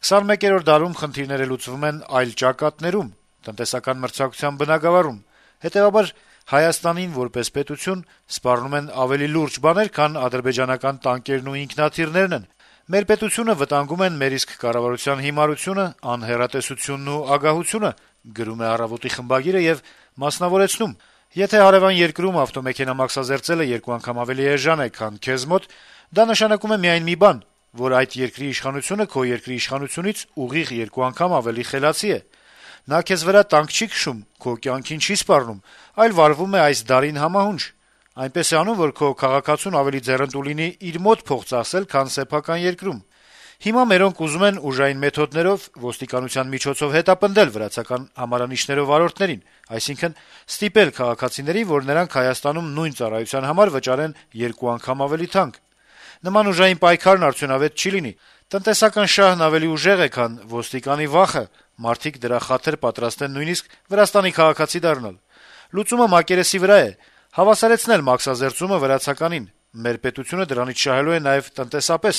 «21-րդ դարում խնդիրները լուծվում են այլ «ճակատներում»` տնտեսական մրցակցության բնագավառում: Հետեւաբար Հայաստանին, որպես պետություն, սպառնում են ավելի լուրջ բաներ, քան ադրբեջանական տանկերն ու ինքնաթիռներն են: Մեր պետությունը վտանգում են մեր իսկ կառավարության հիմարությունը, անհեռատեսությունն եւ ագահությունը: Եթե հարեւան երկրում ավտոմեքենա մաքսազերծելը երկու անգամ ավելի էժան է, քան քեզ մոտ, դա նշանակում է միայն մի բան, որ այդ երկրի իշխանությունը քո երկրի իշխանությունից ուղիղ երկու անգամ ավելի խելացի է: Նա քեզ վրա տանկ չի քշում, քո կյանքին չի սպառնում, այլ վարվում է այս դարին համահունչ. այնպես է անում, որ քո քաղաքացուն ավելի ձեռնտու լինի իր մոտ փող ծախսել, քան սեփական երկրում: Հիմա մերոնք ուզում են ուժային մեթոդներով, ոստիկանության միջոցով հետապնդել վրացական համարանիշներով վարորդներին, այսինքն` ստիպել քաղաքացիներին, որ նրանք Հայաստանում նույն ծառայության համար վճարեն երկու անգամ ավելի թանկ: Նման ուժային պայքարն արդյունավետ չի լինի. տնտեսական շահն ավելի ուժեղ է, քան ոստիկանի վախը` մարդիկ «դրա խաթր» պատրաստ են նույնիսկ Վրաստանի քաղաքացի դառնալ: Լուծումը մակերեսի վրա է. հավասարեցնել մաքսազերծումը վրացականին` մեր պետությունը դրանից շահելու է նաեւ տնտեսապես: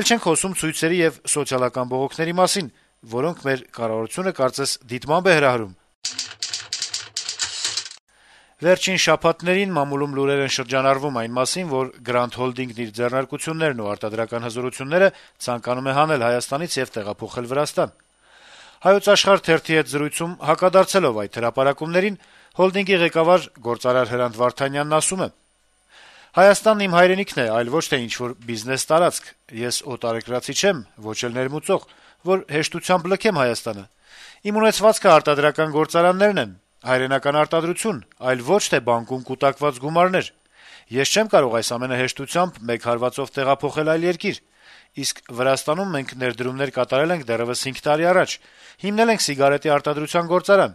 Էլ չենք խոսում ցույցերի ու սոցիալական բողոքների մասին, որոնք մեր կառավարությունը կարծես դիտմամբ է հրահրում»: «Հայոց աշխարհ»-ի հետ զրույցում անդրադառնալով լուրերին, թե «Գրանդ Հոլդինգը» իբր իր ձեռնարկություններն ու արտադրական հզորությունները ցանկանում է հանել Հայաստանից` տեղափոխել Վրաստան, հոլդինգի սեփականատեր Հրանտ Վարդանյանը ասել է. - «Հայաստանն իմ հայրենիքն է, այլ ոչ թե ինչ-որ բիզնես-տարածք: Ես օտարերկրացի չեմ, ոչ էլ ներմուծող, որ հեշտությամբ լքեմ Հայաստանը: Իմ ունեցվածքը արտադրական գործարաններ են, հայրենական արտադրություն, այլ ոչ թե բանկում կուտակված գումարներ: Ես չեմ կարող այս ամենը հեշտությամբ, մեկ հարվածով տեղափոխել այլ երկիր: Իսկ Վրաստանում մենք ներդրումներ կատարել ենք դեռեւս 5 տարի առաջ` հիմնել ենք սիգարետի արտադրության գործարան: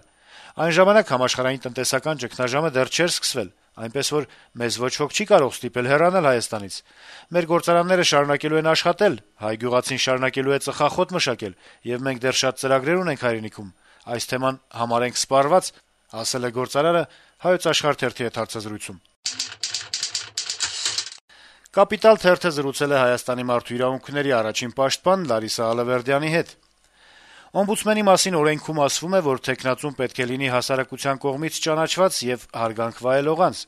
Այն ժամանակ համաշխարհային տնտեսական ճգնաժամը դեռ չէր սկսվել: Այնպես որ մեզ ոչ ոք չի կարող ստիպել հեռանալ Հայաստանից: Մեր գործարանները շարունակելու են աշխատել, հայ գյուղացին շարունակելու է ծխախոտ մշակել, եւ մենք դեռ շատ ծրագրեր ունենք հայրենիքում: Այս թեման համարենք սպառված»: «Կապիտալ» թերթը զրուցել է Մարդու իրավունքների առաջին պաշտպան Լարիսա Ալավերդյանի հետ «Օմբուդսմենի մասին» օրենքի վերաբերյալ: «Oմբուդսմենի մասին օրենքում ասվում է, որ թեկնածուն պետք է լինի հասարակության կողմից ճանաչված եւ հարգանք վայելող անձ։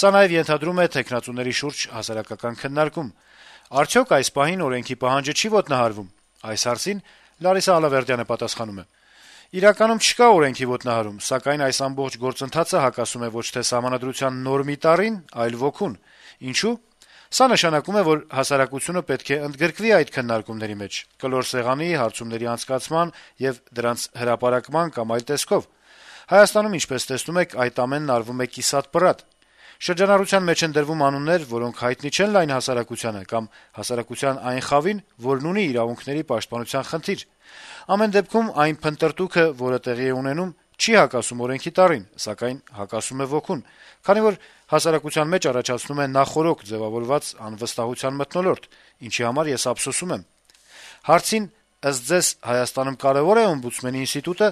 Սա նաեւ ենթադրում է թեկնածուների շուրջ հասարակական քննարկում։ Արդյոք այս պահին օրենքի պահանջը չի՞ ոտնահարվում», - օրաթերթի հարցին Ալավերդյանը պատասխանել է. - «Իրականում չկա օրենքի ոտնահարում, սակայն այս ամբողջ գործընթացը հակասում է ոչ թե Սահմանադրության նորմի տառին, այլ ոգուն։ Ինչո՞ւ։ Սա նշանակում է, որ հասարակությունը պետք է ընդգրկվի այդ քննարկումների մեջ` կլոր սեղանի, հարցումների անցկացման եւ դրանց հրապարակման կամ այլ տեսքով։ Հայաստանում, ինչպես տեսնում եք, այդ ամենն արվում է կիսատ-պռատ։ Շրջանառության մեջ են դրվում անուններ, որոնք հայտնի չեն լայն հասարակությանը կամ հասարակության այն խավին, որն ունի իրավունքների պաշտպանության խնդիր։ Ամեն դեպքում, այն փնտրտուքը, որը տեղի է ունենում, չի հակասում օրենքի տառին, սակայն հակասում է ոգուն, քանի որ հասարակության մեջ առաջացնում է նախօրոք ձեւավորված անվստահության մթնոլորտ, ինչի համար ես ափսոսում եմ»։ Հարցին, թե, ըստ Ալավերդյանի կարեւո՞ր է օմբուդսմենի ինստիտուտը,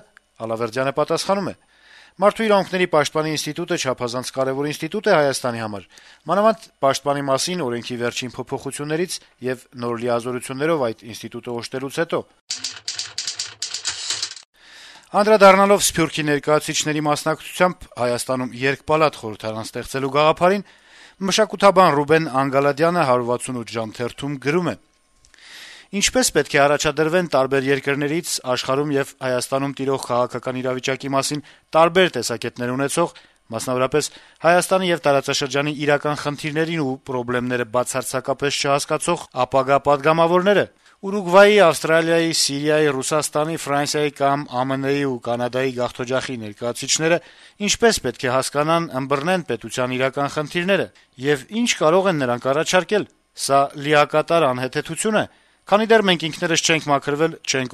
նա պատասխանել է. - «Մարդու իրավունքների պաշտպանի ինստիտուտը չափազանց կարեւոր ինստիտուտ է Հայաստանի համար։ Մանավանդ` պաշտպանի մասին օրենքի վերջին փոփոխություններից եւ նոր լիազորություններով այդ ինստիտուտը օժտելուց հետո»: Անդրադառնալով Սփյուռքի ներկայացուցիչների մասնակցությամբ Հայաստանում երկպալատ խորհրդարան ստեղծելու գաղափարին, մշակութաբան Ռուբեն Անգալադյանը «168 ժամ»-ում գրում է. - «Ինչպե՞ս պետք է առաջադրվեն տարբեր երկրներից, աշխարհում եւ ՀՀ-ում տիրող քաղաքական իրավիճակի մասին տարբեր տեսակետներ ունեցող, մասնավորապես` Հայաստանի եւ տարածաշրջանի իրական խնդիրներն ու պրոբլեմները բացարձակապես չհասկացող ապագա պատգամավորները։ Ուրուգվայի, Ավստրալիայի, Սիրիայի, Ռուսաստանի, Ֆրանսիայի կամ ԱՄՆ-ի ու Կանադայի գաղթօջախի ներկայացուցիչը ինչպե՞ս պետք է հասկանան, ըմբռնեն պետության իրական խնդիրները, եւ ի՞նչ կարող են նրանք առաջարկել: Սա լիակատար անհեթեթություն է: Քանի դեռ մենք ինքներս չենք մաքրվել, չենք